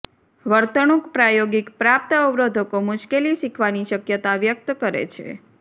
વર્તણૂંક પ્રાયોગિક પ્રાપ્ત અવરોધકો મુશ્કેલી શીખવાની શક્યતા વ્યક્ત કરે છે